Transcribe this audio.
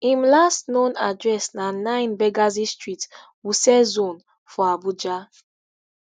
im last known address na nine benghazi street wuse zone four abuja